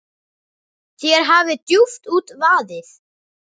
Þér hafi djúpt út vaðið.